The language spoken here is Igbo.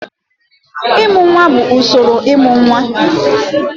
Ịmụ nwa bụ usoro ịmụ nwa.